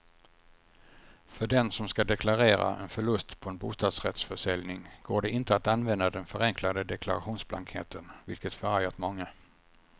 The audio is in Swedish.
För den som ska deklarera en förlust på en bostadsrättsförsäljning går det inte att använda den förenklade deklarationsblanketten, vilket förargat många.